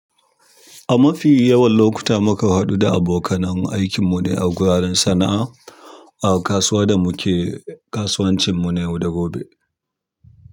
A mafi yawan lokuta muka haɗu da abokanai aikinmu ne a guraren sana'a, a kasuwa da muke kasuwancinmu na yau da gobe.